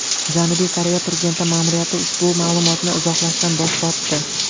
Janubiy Koreya prezidenti ma’muriyati ushbu ma’lumotni izohlashdan bosh tortdi.